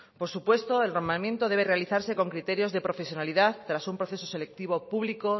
por supuesto el nombramiento debe realizarse con criterios de profesionalidad tras un proceso selectivo público